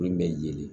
Min bɛ yelen